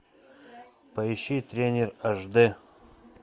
поищи тренер аш д